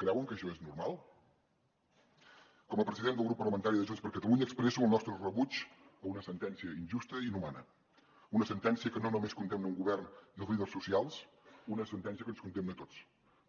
creuen que això és normal com a president del grup parlamentari de junts per catalunya expresso el nostre rebuig a una sentència injusta i inhumana una sentència que no només condemna un govern i els líders socials una sentència que ens condemna a tots